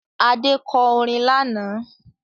Adé kọ orin lánàá